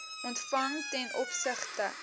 ontvang ten opsigte